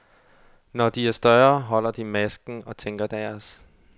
Når de er større, holder de masken og tænker deres.